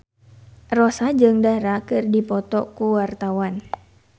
Rossa jeung Dara keur dipoto ku wartawan